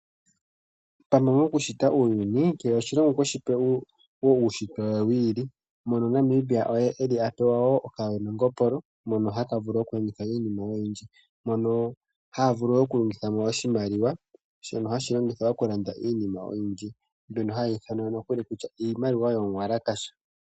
Ano nakushita uuyuni kehe oshilongo okweshi pele uushitwe wawo wi ili mono Namibia apewa okawe nongopolo hono haka vulu mono haka vulu okukuthamo iinima oyindji ,mono haha vulu okukuthamo oshimaliwa shono hashi longithwa okulanda iinima oyindji mbyono hayi ithanwa nokuli kutya iimaliwa yo yiitenda.